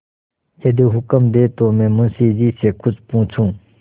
यदि हुक्म दें तो मैं मुंशी जी से कुछ पूछूँ